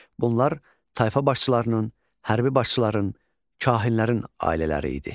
Bunlar tayfa başçılarının, hərbi başçıların, kahinlərin ailələri idi.